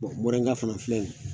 morɛnga fana filɛ nin ye